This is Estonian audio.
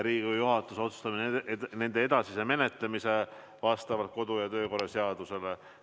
Riigikogu juhatus otsustab nende edasise menetlemise vastavalt kodu- ja töökorra seadusele.